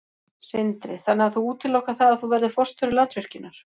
Sindri: Þannig að þú útilokar það að þú verðir forstjóri Landsvirkjunar?